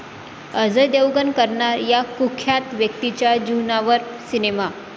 अजय देवगण करणार या कुख्यात व्यक्तीच्या जीवनावर सिनेमा